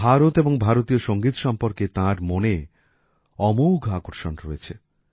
ভারত এবং ভারতীয় সঙ্গীত সম্পর্কে তাঁর মনে অমোঘ আকর্ষণ রয়েছে